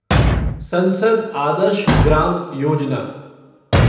संसद आदर्श ग्राम योजना